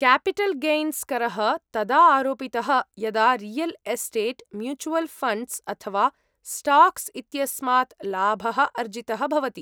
Capital gains करः तदा आरोपितः यदा रियल् एस्टेट्, म्यूचुवल् फण्ड्स्, अथवा स्टाक्स् इत्यस्मात् लाभः अर्जितः भवति।